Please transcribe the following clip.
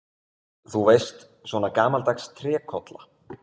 Þú veist, svona gamaldags trékolla.